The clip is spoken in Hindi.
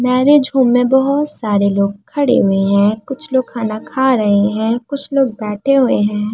मैरिज होम में बहोत सारे लोग खड़े हुए हैं। कुछ लोग खाना खा रहे हैं। कुछ लोग बैठे हुए हैं।